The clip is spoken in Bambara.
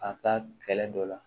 A ka kɛlɛ dɔ la